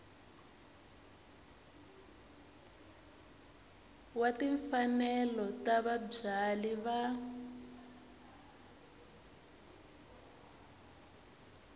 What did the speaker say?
wa timfanelo ta vabyali va